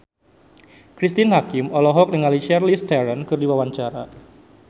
Cristine Hakim olohok ningali Charlize Theron keur diwawancara